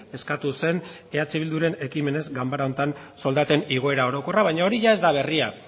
eskatu zen eh bilduren ekimenez ganbara honetan soldaten igoera orokorra baina hori ez da berria